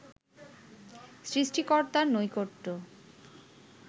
সৃষ্টিকর্তার নৈকট্য